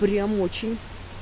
прямо очень